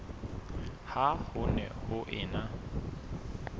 ha ho ne ho ena